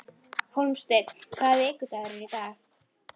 Hólmsteinn, hvaða vikudagur er í dag?